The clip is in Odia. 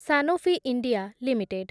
Sanofi India limited